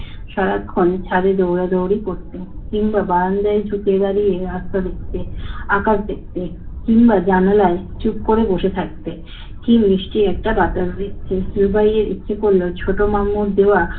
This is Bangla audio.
সারাক্ষণ ছাদে দৌড়াদৌড়ি করতে। কিংবা বারান্দায় ঝুঁকে দাঁড়িয়ে রাস্তা দেখতে, আকাশ দেখতে। কিংবা জানালায় চুপ করে বসে থাকতে। কী মিষ্টি একটা বাতাস দেখতে। রুবাইয়ের ইচ্ছে করল ছোট মামুর দেওয়া